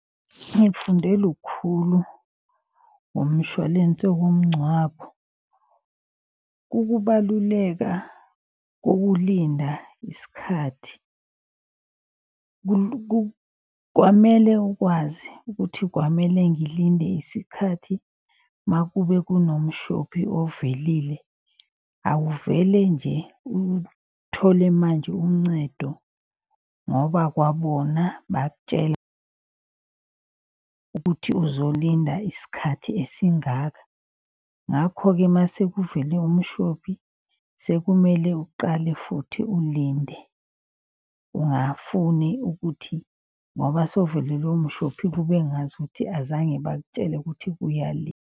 Ngikufunde lukhulu ngomshwalense womngcwabo. Ukubaluleka kokulinda isikhathi kwamele ukwazi ukuthi kwamele ngilinde isikhathi, makube kunomshophi ovelile. Awuvele nje uthole manje uncedo ngoba kwabona ukuthi uzolinda isikhathi esingaka. Ngakho-ke masekuvele umshophi sekumele uqale futhi ulinde. Ungafuni ukuthi ngoba sewuvelelwe umshophi kube ngazuthi azange bakutshele ukuthi .